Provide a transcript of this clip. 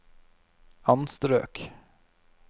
anstrøk